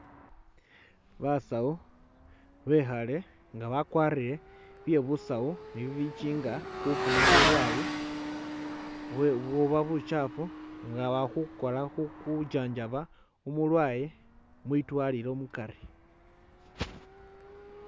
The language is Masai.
Basawu bekhale nga bakwarire bye'busawu ni bibichinga kufuna bulwale bwe buba buchafu nga wakha khukwara khu khu chanjaba umulwale mwidwalilo mukari